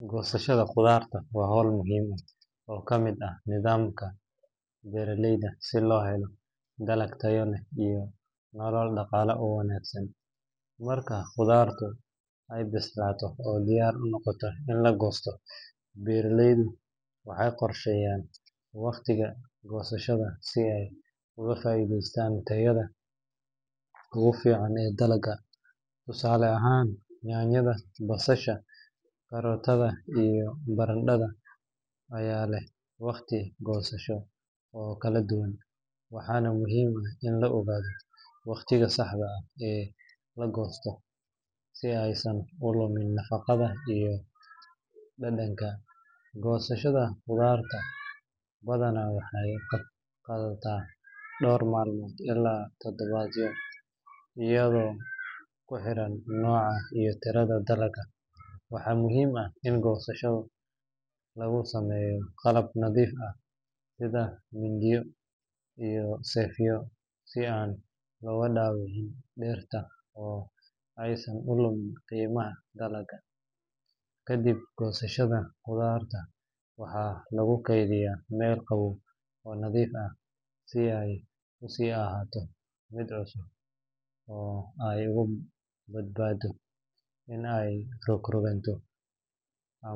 Goosashada khudaarta waa hawl muhiim ah oo ka mid ah nidaamka beeralayda si loo helo dalag tayo leh iyo nolol dhaqaale oo wanaagsan. Marka khudaartu ay bislaato oo diyaar u noqoto in la goosto, beeralaydu waxay qorsheeyaan waqtiga goosashada si ay uga faa’iideystaan tayada ugu fiican ee dalagga. Tusaale ahaan, yaanyada, basasha, karootada iyo barandhada ayaa leh waqti goosasho oo kala duwan, waxaana muhiim ah in la ogaado waqtiga saxda ah ee la goosto si aysan u lumin nafaqada iyo dhadhanka. Goosashada khudaarta badanaa waxay qaadataa dhowr maalmood ilaa toddobaadyo iyadoo ku xiran nooca iyo tirada dalagga. Waxaa muhiim ah in goosashada lagu sameeyo qalab nadiif ah sida mindiyo iyo seefyo, si aan looga dhaawicin dhirta oo aysan u lumin qiimaha dalagga. Kadib goosashada, khudaarta waxaa lagu keydiyaa meel qabow oo nadiif ah si ay u sii ahaato cusub oo ay uga badbaado in ay rogrogaan,